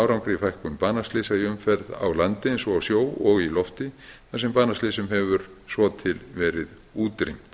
árangri í fækkun banaslysa í umferð á landi eins og á sjó og í lofti þar sem banaslysum hefur svo til verið útrýmt